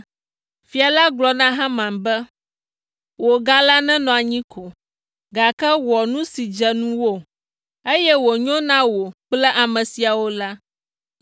Fia la gblɔ na Haman be, “Wò ga la nenɔ anyi ko, gake wɔ nu si dze ŋuwò, eye wònyo na wò kple ame siawo la.”